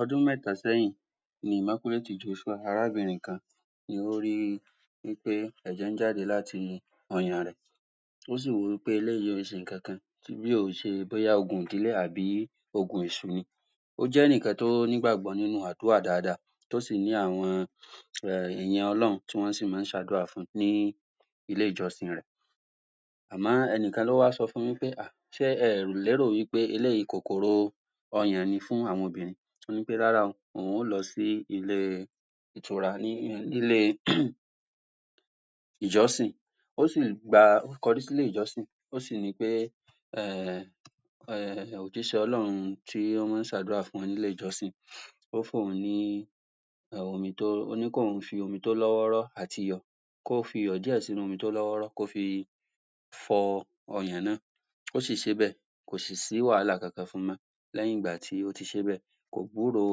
Ọdún méta sẹ́yìn, ni Immaculate Joshua, arabìnrin kan ni ó ri pé ẹ̀jẹ̀ ń jáde láti ọyàn rẹ̀ ó sì rò wí pé eléyìí ò ń ṣe ǹnkankan bí ò ń ṣe bóyá ogun ìdílé àbí ogun èṣụ̀ ni ó jẹ́ ẹnìkan tí ó ní ìgbàgbọ́ nínú àdúrà dáadáa tó sì ní àwọn um èèyàn ọlọ́run tí wọ́n sì máa ń ṣe àdúrà fun ni ilé-ìjọsìn rẹ̀ àmọ́ ẹnìkan ló wá sọ fun wí pé um ṣé ẹ lérò wí pé eléyìí, kòkòrò ọyàn ni fún àwọn obìnrin. Ó ní pé rárá o, òun ó lọ sí ilé ìtura n'ílé ìjọsìn ó si gba, ó kọjú sí ilé-ìjọsìn, ó sì ní pé um um òjíṣẹ́ Ọlọ́run, tí ó máa ń ṣe àdúrà fún wọn ní ilé-ìjọsìn, ó fún òun ní um omi tó, ó ní kí òun fi omi tó lọ́wọ́rọ́ àti iyọ̀, kó fi iyọ̀ díẹ̀ sí nu omi tó lọ́wọ́rọ́ fọ ọyàn náà, ó sì ṣe é bẹ́è kò sì sí wàhálà kankan fún-un mọ́. Lẹ́yìn ìgbà tí ó ti ṣe é bẹ̀, kò gbúro,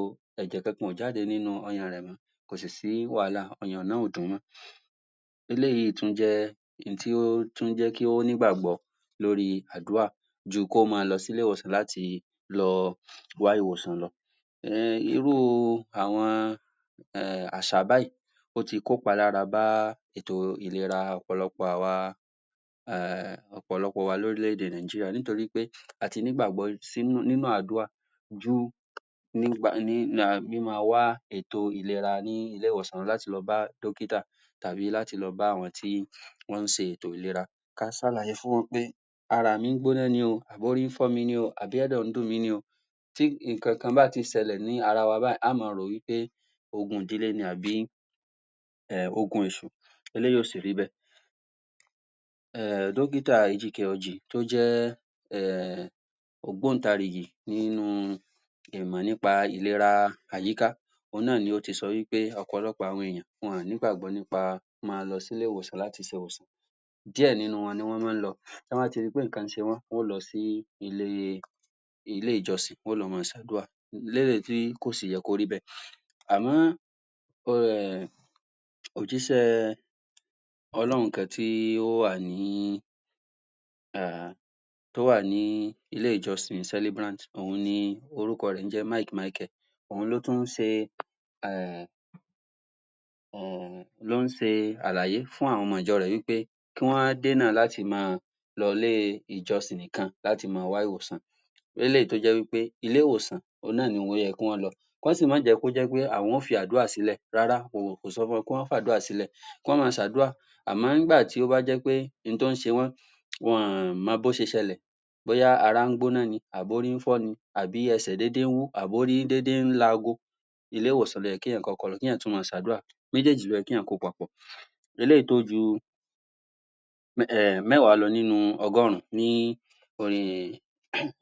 ẹ̀jẹ̀ kankan ò jáde nínú ọyàn rẹ̀ mọ́ kò sì sí wàhálà, ọyàn yẹn ò dùn-ún mọ́. Eléyìí tún jẹ́ ohun tí ó tún jé kí ó ní ìgbàgbọ́ lórí àdúrà. ju kó máa lọ s'ílé ìwòsàn láti lọ wá ìwòsàn lọ um irú àwọn um àṣà báyìí ó ti kó ìpálára bá ètò ìlerà ọ̀pọ̀lọpọ̀ àwa um ọ̀pọ̀lọpọ̀ wa l'órílẹ̀-èdè Nàìjíríà, nítorí pé a ti ní ìgbàgbọ́ nínú àdúrà ju ètò ìlera ní ilé-ìwòsàn, o ní láti lọ bá dọ́kíkà tàbí láti lọ bá àwọn tí wọ́n ṣe ètò ìlera, ká ṣàlàyé fún wọn pé ara mí ń gbóná ní o, àbí orí ń fọ́ mi ni àbí ẹ̀dọ̀ ń dùn mí ni o, tí ǹnkan kan bá ti ṣẹlẹ̀ ní ara wa báyìí, a ó máa rò wí pé ogun ìdílé ni àbí um ogun èṣù eléyìí ò sì rí bẹ́ẹ̀ um dọ́kítà tó jẹ́ um ògbóǹtarìgì nínú ìmọ̀ nínú ìlera àyíká òun náà, ló ti sọ wí pé ọ̀pọ̀lọpọ̀ àwọn èèyàn wọn ò ní ìgbàgbọ́ nípa, máa lọ sí ilé-ìwòsàn, máa rí ìwòsàn díẹ̀ nínú wọn ni wọ́n máa ń lọ. Tọ́ bá ti ri pé ǹnkan ń ṣe wọ́n, wá lọ sí ilé ilé-ìjọsìn, wọ́n yóò lọ máa ṣe àdúrà léyìí, tí kò sì yẹ kó rí bẹ̀, àmọ́ um òjíṣẹ́ òjíṣẹ́ Ọlọ́run kan tí ó wà ní, um tó wà ní, ilé-ìjọsìn Celebrant òun ni, orúkọ rẹ̀ ń jẹ́ Mike Micheal òun ló tún ṣe um um ló ń ṣe àlàyé fún àwọn ọmọ ìjọ rẹ̀ wí pé kí wọ́n dènà láti máa lọ ilé-ìjọsìn nìkan láti máa wá ìwòsàn, eléyìí tó jẹ́ wí pé, ilé-ìwòsàn òun náà ni ó yẹ kí wọ́n lọ kọ́ sì máa jẹ́ kó jẹ́ pé àwọn yóò fi àdúrà sí lẹ̀ rárá o, kò sọ fún wọn pé kí wọ́n fi àdúrà lẹ̀ kọ́ máa ṣe àdúrà àmọ́, nígbà tí ó bá jẹ́ pé ǹnkan tí ó ń ṣe wọ́n wọn ò mọ bó ṣe ṣẹlẹ̀ bóyá ará fọ́ wọn ni, àbí orí fífọ́ ni àbí ẹsẹ̀ ń déedée wú, àbí orí ń l'aago, ilé-ìwòsàn ló yẹ kí èèyàn kọ́kọ́ lọ, kí èèyàn tún máa ṣe àdúrà méjèjì ló yẹ kí èèyàn kó páapọ̀. eléyìí tó ju um mẹ́wàá lọ nínú ọgọ́run ní orí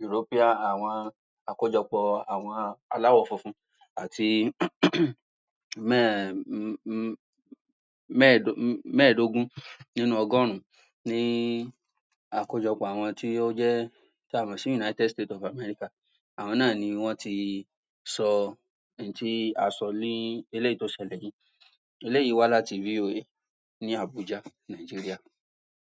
European, àwọn àkójọpọ̀ àwọn aláwọ̀ funfun àti mẹ́ẹ̀dógún nínú ọgọ́run ní àkójọpọ̀ àwọn tí ó jé tí a mọ̀ sí United states of America àwọn náà ni wọ́n ti sọ ohun tí a sọ ní, eléyìí tó ṣelẹ̀ ní, eléyìí wá láti VOA, ní Abuja, Nàìjíríà.